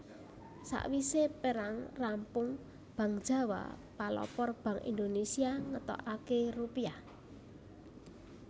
Sawisé perang rampung Bank Jawa palopor Bank Indonésia ngetokaké Rupiah